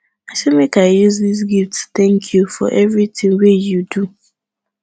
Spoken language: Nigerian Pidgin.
i say make i use dis small gift tank you for evertin wey you do